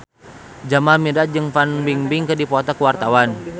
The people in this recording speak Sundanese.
Jamal Mirdad jeung Fan Bingbing keur dipoto ku wartawan